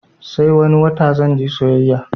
Sai wani wata zanje sayayya